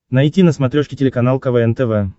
найти на смотрешке телеканал квн тв